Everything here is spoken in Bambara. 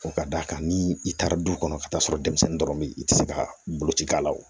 Ka d'a kan ni i taara du kɔnɔ ka taa sɔrɔ denmisɛnnin dɔrɔn bɛ yen i tɛ se ka boloci k'a la wo